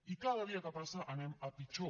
i cada dia que passa anem a pitjor